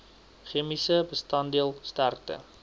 chemiese bestanddeel sterkte